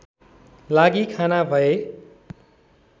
लागि रवाना भए